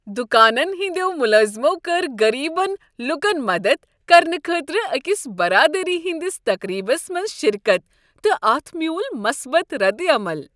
دکانن ہٕنٛدٮ۪و ملٲزِمو کٔر غٔریٖبن لوکن مدتھ کرنہٕ خٲطرٕ أکس برادری ہندِس تقریبس منٛز شرکت تہٕ اتھ مِیوٗل مثبت ردعمل۔